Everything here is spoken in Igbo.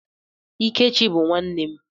Ikechi bụ nwanne m.